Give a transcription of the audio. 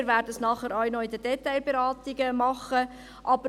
Wir werden es anschliessend in den Detailberatungen auch noch tun.